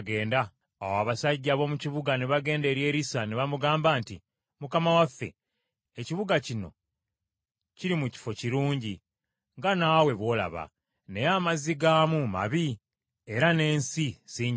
Awo abasajja ab’omu kibuga ne bagenda eri Erisa ne bamugamba nti, “Mukama waffe, ekibuga kino kiri mu kifo kirungi, nga nawe bw’olaba, naye amazzi gaamu mabi, era n’ensi si njimu.”